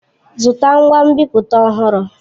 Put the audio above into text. Zụta ngwa nbipute ọhụrụ!